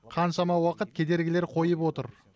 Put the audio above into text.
қаншама уақыт кедергілер қойып отыр